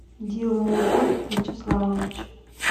дилмурод вячеславович